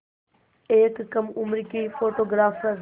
एक कम उम्र की फ़ोटोग्राफ़र